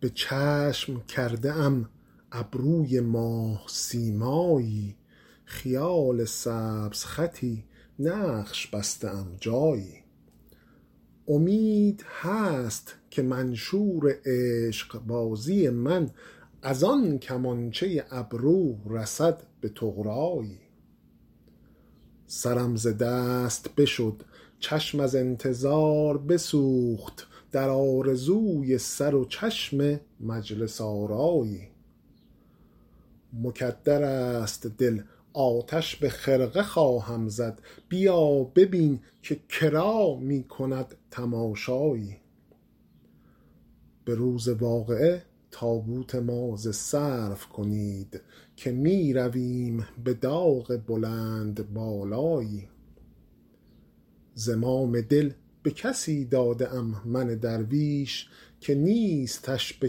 به چشم کرده ام ابروی ماه سیمایی خیال سبزخطی نقش بسته ام جایی امید هست که منشور عشق بازی من از آن کمانچه ابرو رسد به طغرایی سرم ز دست بشد چشم از انتظار بسوخت در آرزوی سر و چشم مجلس آرایی مکدر است دل آتش به خرقه خواهم زد بیا ببین که کرا می کند تماشایی به روز واقعه تابوت ما ز سرو کنید که می رویم به داغ بلندبالایی زمام دل به کسی داده ام من درویش که نیستش به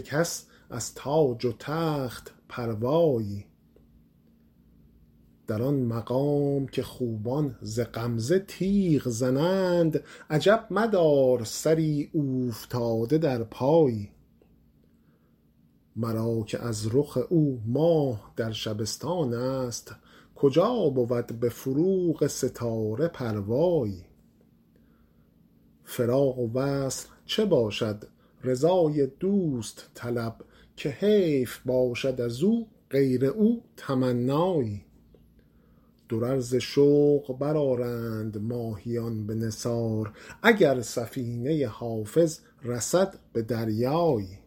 کس از تاج و تخت پروایی در آن مقام که خوبان ز غمزه تیغ زنند عجب مدار سری اوفتاده در پایی مرا که از رخ او ماه در شبستان است کجا بود به فروغ ستاره پروایی فراق و وصل چه باشد رضای دوست طلب که حیف باشد از او غیر او تمنایی درر ز شوق برآرند ماهیان به نثار اگر سفینه حافظ رسد به دریایی